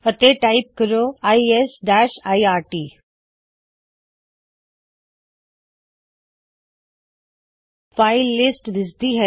ਅਤੇ ਟਾਇਪ ਕਰੋ LS lrt file list ਦਿਸਦੀ ਹੈ